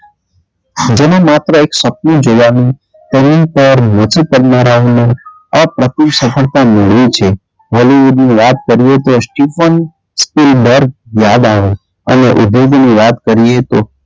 જેને માત્ર એક સપનું જોવાનું તેની પર કરનારાઓનું આ પ્રતિ સફળતા મેળવી છે વાત કરીએ તો સ્ટીફન સ્ટીલ બર્ગ યાદ આવે અને વાત કરીએ તો,